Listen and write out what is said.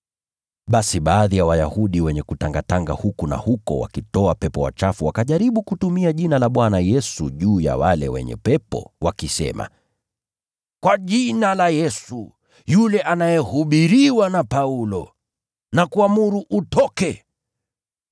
Basi baadhi ya Wayahudi wenye kutangatanga huku na huko wakitoa pepo wachafu wakajaribu kutumia jina la Bwana Yesu wale wenye pepo wakisema, “Kwa jina la Yesu, yule anayehubiriwa na Paulo, nakuamuru utoke.”